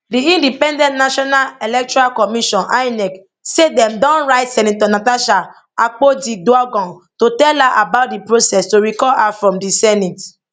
di independent national electoral commission inec say dem don write senator natasha akpotiuduaghan to tell her about di process to recall her from di senate